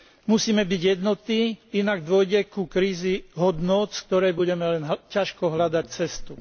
Musíme byť jednotní, inak dôjde ku kríze hodnôt, z ktorej budeme len ťažko hľadať cestu.